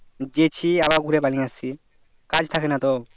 যেছি আবার ঘুরে বাড়ি আসছি কাজ থাকে না তো